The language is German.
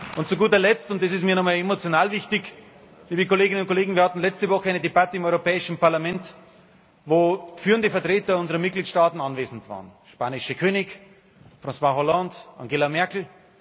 Und zu guter Letzt, und das ist mir nochmal emotional wichtig, liebe Kolleginnen und Kollegen Wir hatten letzte Woche eine Debatte im Europäischen Parlament, wo führende Vertreter unserer Mitgliedstaaten anwesend waren der spanische König, François Hollande, Angela Merkel.